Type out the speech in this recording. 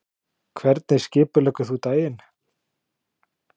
Hvernig skipuleggur þú daginn?